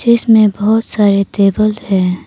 इसमें बहोत सारे टेबल है।